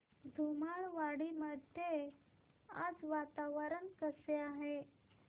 धुमाळवाडी मध्ये आज वातावरण कसे आहे